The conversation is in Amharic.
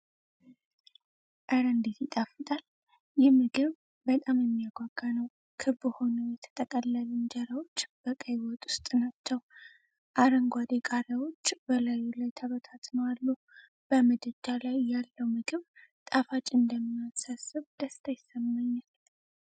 ኧረ እንዴት ይጣፍጣል! ይህ ምግብ በጣም የሚያጓጓ ነው። ክብ ሆነው የተጠቀለሉ እንጀራዎች በቀይ ወጥ ውስጥ ናቸው። አረንጓዴ ቃሪያዎች በላዩ ላይ ተበታትነው አሉ። በምድጃ ላይ ያለው ምግብ ጣፋጭ እንደሚሆን ሳስብ ደስታ ይሰማኛል።